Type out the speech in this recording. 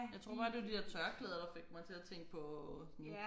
Jeg tror bare det var de der tørklæder der fik mig til at tænke på sådan